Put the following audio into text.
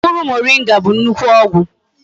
Mkpuru moringa bu nnukwu ogwu